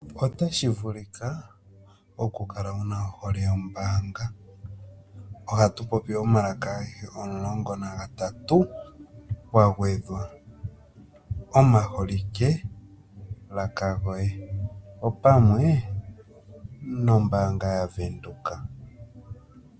Otashi vulika okukala wu na ohole yombaanga ohatu popi omalaka agehe omulongo nagatatu kwa gwedhwa omaholikelaka goye opamwe nombaanga yaVenduka.